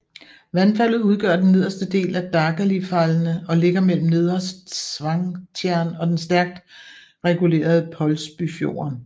Vandfaldet udgør den nederste del af Dagalifallene og ligger mellem Nedre Svangtjern og den stærkt regulerede Pålsbufjorden